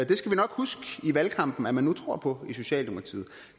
det skal vi nok huske i valgkampen at man nu tror på i socialdemokratiet